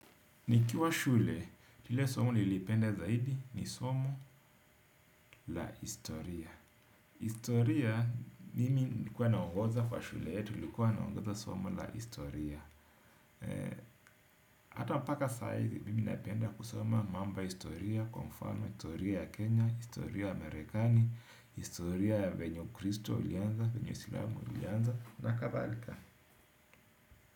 Nikiwa shule, ile somo nilipende zaidi ni somo la historia. Historia, mimi nilikuwa naongoza kwa shule yetu, nilikuwa naongoza somo la historia. Hata mpaka saa hizi, mimi napenda kusoma mambo ya historia, kwa mfano historia ya Kenya, historia ya Amerikani, historia ya venye ukristo ulianza, venye uislamu ulianza, na kadhalika.